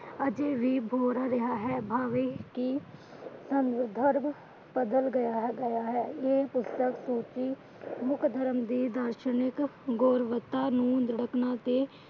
ਅਜੇ ਵੀ ਬੋਲ ਰਿਹਾ ਹੈ। ਭਾਵੇ ਕੀ ਸੰਦਰਬ ਬਦਲ ਗਿਆ ਹੈ। ਇਹ ਪੁਸਤਕ ਕਿਉਂਕਿ ਮੁੱਖ ਧਰਮ ਦੀ ਗੋਰਵਾਰਤਾਨਾ ਨੂੰ